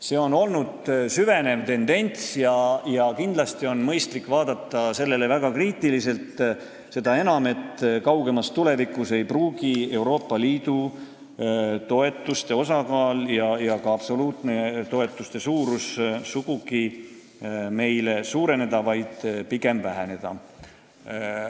See on olnud süvenev tendents, mida kindlasti on mõistlik vaadata väga kriitiliselt, seda enam, et kaugemas tulevikus ei pruugi Euroopa Liidu toetuste osakaal ja ka toetuste absoluutne suurus sugugi suureneda, vaid need võivad pigem väheneda.